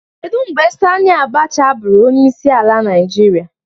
Kedu mgbe Sani Abacha bụrụ onyeisiala Naịjirịa?